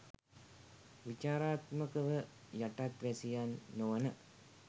විචාරාත්මකව යටත් වැසියන් නොවන